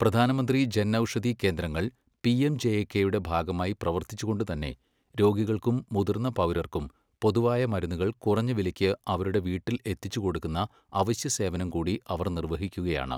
പ്രധാനമന്ത്രി ജൻ ഔഷധി കേന്ദ്രങ്ങൾ പിഎംജെഎകെയുടെ ഭാഗമായി പ്രവർത്തിച്ചുകൊണ്ടുതന്നെ, രോഗികൾക്കും മുതിർന്ന പൗരർക്കും പൊതുവായ മരുന്നുകൾ കുറഞ്ഞ വിലയ്ക്ക് അവരുടെ വീട്ടിൽ എത്തിച്ചുകൊടുക്കുന്ന അവശ്യസേവനം കൂടി അവർ നിർവഹിക്കുകയാണ്.